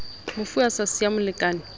mofu a sa siya molekane